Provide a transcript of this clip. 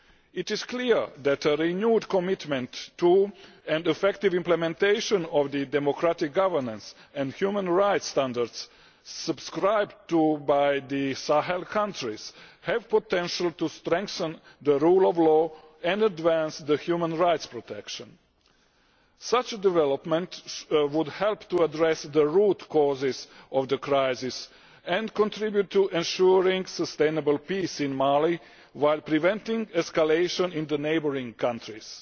It is clear that a renewed commitment to and effective implementation of the democratic governance and human rights standards subscribed to by the Sahel countries have the potential to strengthen the rule of law and advance human rights protection. Such a development would help to address the root causes of the crisis and contribute to ensuring sustainable peace in Mali, while preventing escalation in the neighbouring countries.